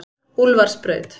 Úlfarsbraut